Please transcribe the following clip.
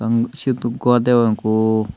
um siyoto gor degong ekku.